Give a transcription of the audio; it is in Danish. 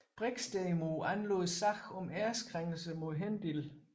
Brix derimod anlagde sag om æreskrænkelse mod Hendil